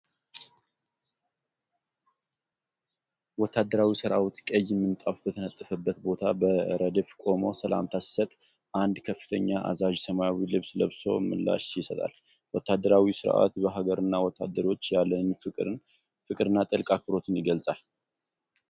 ወታደራዊ ሰራዊት ቀይ ምንጣፍ በተነጠፈበት ቦታ በረድፍ ቆሞ ሰላምታ ሲሰጥ፣ አንድ ከፍተኛ አዛዥ ሰማያዊ ልብስ ለብሶ ምላሽ ይሰጣል። ወታደራዊው ሥርዓት ለሀገርና ለወታደሮች ያለንን ፍቅርና ጥልቅ አክብሮት ይገልጻል።